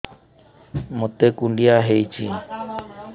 ମୋତେ କୁଣ୍ଡିଆ ହେଇଚି